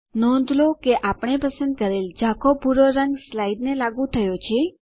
નોંધ લો કે આપણે પસંદ કરેલ ઝાંખો ભૂરો રંગ સ્લાઇડને લાગુ થયો છે